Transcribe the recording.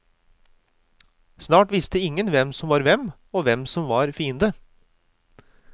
Snart visste ingen hvem som var venn og hvem som var fiende.